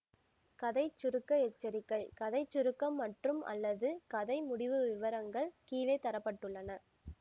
கதை சுருக்க எச்சரிக்கை கதை சுருக்கம் மற்றும்அல்லது கதை முடிவு விவரங்கள் கீழே தர பட்டுள்ளன